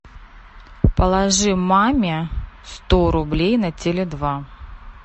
положи маме сто рублей на теле два